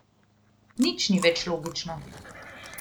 Nič ni več logično.